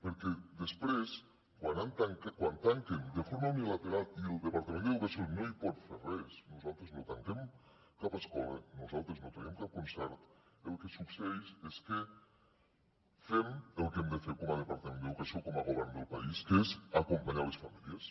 perquè després quan tanquen de forma unilateral i el departament d’educació no hi pot fer res nosaltres no tanquem cap escola nosaltres no traiem cap concert el que succeeix és que fem el que hem de fer com a departament d’educació com a govern del país que és acompanyar les famílies